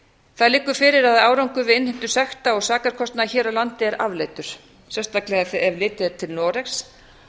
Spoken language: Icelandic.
það liggur fyrir að árangur við innheimtu sekta og sakarkostnaðar hér á landi er afleitur sérstaklega þegar litið er til noregs